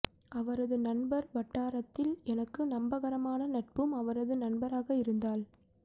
அவரது நண்பர் வட்டாரத்தில் எனக்கு நம்பகரமான நட்பும் அவரது நண்பராக இருந்தால்